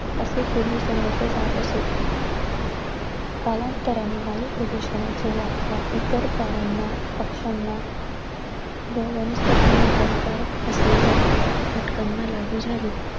असे पूर्वी समजले जात असे. कालांतराने वायू प्रदूषणाची व्याख्या इतर प्राण्यांना, पक्ष्यांना व वनस्पतींना हानिकारक असलेल्या घटकांना लागू झाली.